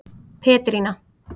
Petrína